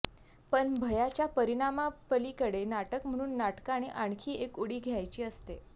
पण भयाच्या परिणामापलीकडे नाटक म्हणून नाटकाने आणखी एक उडी घ्यायची असते